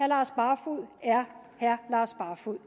lars barfoed er herre lars barfoed